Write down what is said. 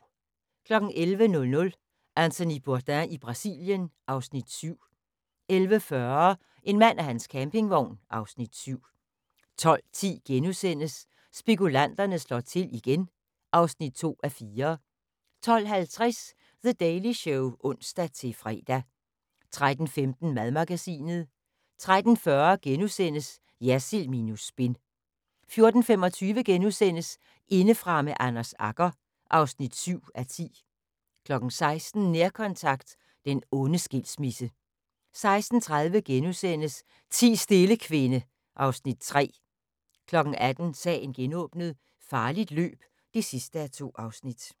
11:00: Anthony Bourdain i Brasilien (Afs. 7) 11:40: En mand og hans campingvogn (Afs. 7) 12:10: Spekulanterne slår til igen (2:4)* 12:50: The Daily Show (ons-fre) 13:15: Madmagasinet 13:40: Jersild minus spin * 14:25: Indefra med Anders Agger (7:10)* 16:00: Nærkontakt – den onde skilsmisse 16:30: Ti stille, kvinde (Afs. 3)* 18:00: Sagen genåbnet: Farligt løb (2:2)